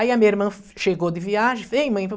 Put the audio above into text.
Aí a minha irmã chegou de viagem, vem, mãe.